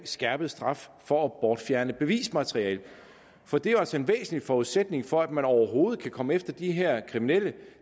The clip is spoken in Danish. skærpet straf for at bortfjerne bevismateriale for det er jo altså en væsentlig forudsætning for at man overhovedet kan komme efter de her kriminelle